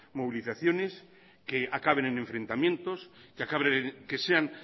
movilizaciones que acaben en enfrentamientos que sean